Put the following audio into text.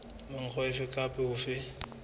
ka mokgwa ofe kapa ofe